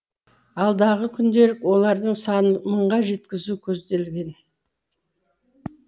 алдағы күндері олардың санын мыңға жеткізу көзделген